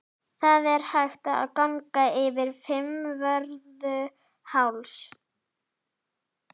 Það er hægt að ganga yfir Fimmvörðuháls.